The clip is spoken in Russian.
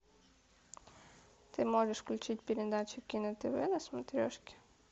ты можешь включить передачу кино тв на смотрешке